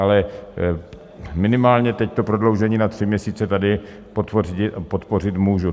Ale minimálně teď to prodloužení na tři měsíce tady podpořit můžu.